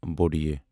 ے